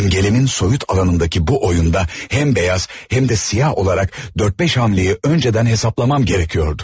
İmgelemin soyut alanındaki bu oyunda həm beyaz, həm də siyah olarak dörd-beş hamle'yi önceden hesaplamam gərəkiyordu.